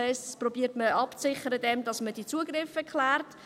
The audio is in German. Dies versucht man abzusichern, indem man die Zugriffe klärt.